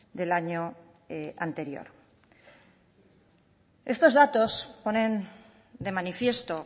del año anterior estos datos ponen de manifiesto